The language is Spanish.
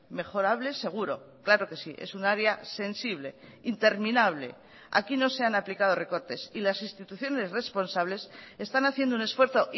mejorables seguro claro que sí es un área sensible interminable aquí no se han aplicado recortes y las instituciones responsables están haciendo un esfuerzo